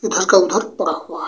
उधर का उधर परा हुआ --